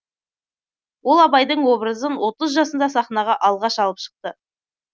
ол абайдың образын отыз жасында сахнаға алғаш алып шықты